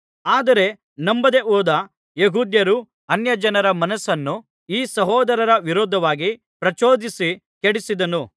ಆದರೆ ನಂಬದೆ ಹೋದ ಯೆಹೂದ್ಯರು ಅನ್ಯಜನರ ಮನಸ್ಸನ್ನು ಈ ಸಹೋದರರ ವಿರುದ್ಧವಾಗಿ ಪ್ರಚೋದಿಸಿ ಕೆಡಿಸಿದರು